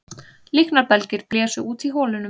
Líknarbelgir blésu út í holunum